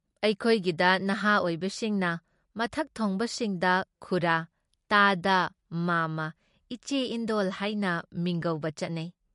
ꯑꯩꯈꯣꯏꯒꯤꯗ ꯅꯍꯥ ꯑꯣꯏꯕꯁꯤꯡꯅ ꯃꯊꯛ ꯊꯣꯡꯕꯁꯤꯡꯗ ꯈꯨꯔꯥ, ꯇꯥꯗ, ꯃꯥꯝꯃꯥ, ꯏꯆꯦ, ꯏꯟꯗꯣꯜ ꯍꯥꯏꯅ ꯃꯤꯡꯒꯧꯕ ꯆꯠꯅꯩ ꯫